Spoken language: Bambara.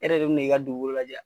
E hɛrɛ de bɛ na i ka dugukolo lajɛ wa?